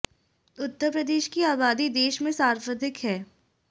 उत्तर प्रदेश की आबादी देश में सर्वाधिक है